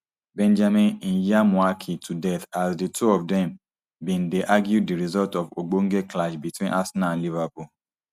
benjamin ndyamuhaki to death as di two of dme bin dey argue di results of ogbonge clash between arsenal and liverpool